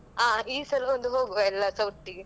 ಆ ಈ ಸಲ ಒಂದು ಹೋಗ್ವ ಎಲ್ಲರುಸ ಒಟ್ಟಿಗೆ.